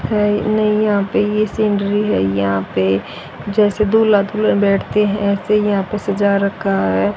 हैं नहीं यहां पे ये सीनरी है यहां पे जैसे दूल्हा दुल्हन बैठते हैं ऐसे यहां पे सजा रखा है।